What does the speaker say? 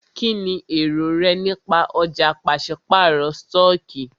Kínní èrò rẹ nípa ọ̀já pàṣípàrọ̀ stọọkí?